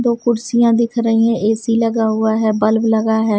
दो कुर्सियाँ दिख रही है ए_सी लगा हुआ है बल्ब लगा है।